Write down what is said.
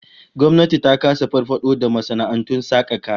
Gwamnati ta kasa farfado da masana'antun saka kaya.